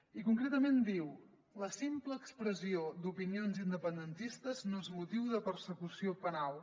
i concretament diu la simple expressió d’opinions independentistes no és motiu de persecució penal